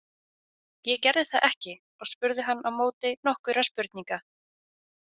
Ég gerði það ekki og spurði hann á móti nokkurra spurninga.